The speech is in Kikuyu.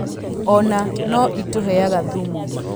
Ona no ĩtũheaga thumu.